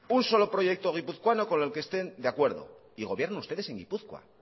un solo proyecto guipuzcoano con el que estén de acuerdo y gobiernan ustedes en gipuzkoa